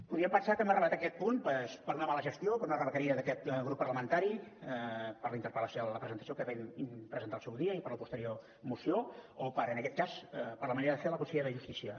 podríem pensar que hem arribat a aquest punt doncs per una mala gestió per una rebequeria d’aquest grup parlamentari per la interpel·lació vam presentar al seu dia i per la posterior moció o per en aquest cas per la manera de fer de la consellera de justícia